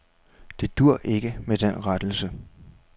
Det duer ikke med den rettelse.